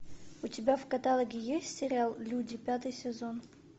у тебя в каталоге есть сериал люди пятый сезон